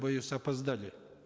боюсь опоздали